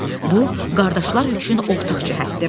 Bu, qardaşlar üçün ortaq cəhətdir.